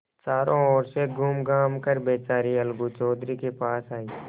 चारों ओर से घूमघाम कर बेचारी अलगू चौधरी के पास आयी